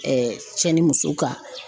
cɛ ni muso ka